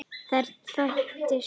Þær þekktu svipinn.